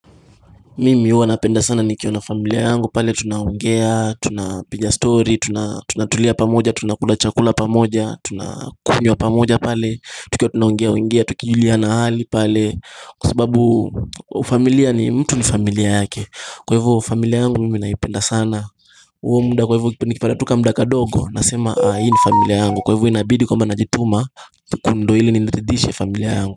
Mimi huwa napenda sana nikiwa na familia yangu pale tunaongea tunapiga story tunatulia pamoja tunakula chakula pamoja tunakunywa pamoja pale tukiwa tunaongea ongea tukijuliana hali pale Kwa sababu familia ni mtu ni familia yake kwa hivyo familia yangu mimi naipenda sana huo muda kwa hivyo nikipata tu kamuda kadogo nasema ah hii ni familia yangu kwa hivyo inabidi kwamba najituma ili niridhishe familia yangu.